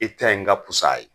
I ta in ka pusa a ye.